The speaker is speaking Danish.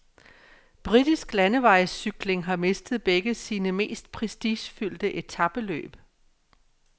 Britisk landevejscykling har mistet begge sine mest prestigefyldte etapeløb.